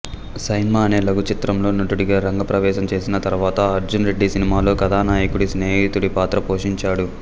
సైన్మా అనే లఘుచిత్రంతో నటుడిగా రంగ ప్రవేశం చేసి తర్వాత అర్జున్ రెడ్డి సినిమాలో కథానాయకుడి స్నేహితుడి పాత్ర పోషించాడు